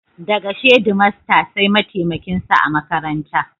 Daga shedimaster sai mataimakin sa a makaranta.